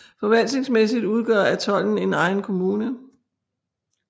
Forvaltningsmæssigt udgør atollen en egen kommune